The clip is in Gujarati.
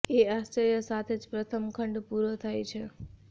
એ આશ્ચર્ય સાથે જ પ્રથમ ખંડ પૂરો થાય છે